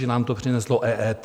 Že nám to přineslo EET?